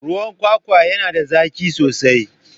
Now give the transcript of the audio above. Ruwan kwakwa yana da zaki sosai.